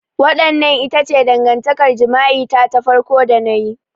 Wannan ita ce dangantakar jima'i ta farko da na yi.